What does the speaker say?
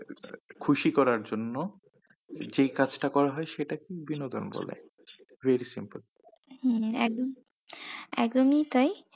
খুশি করার জন্য যে কাজটা করা হয় সেটাকেই বিনোদন বলে very simple হম এক একদমি তাই।